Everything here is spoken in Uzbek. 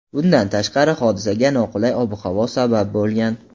Bundan tashqari, hodisaga noqulay ob-havo sabab bo‘lgan.